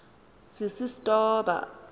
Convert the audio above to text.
sisistoba